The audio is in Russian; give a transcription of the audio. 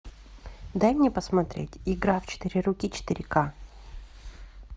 дай мне посмотреть игра в четыре руки четыре ка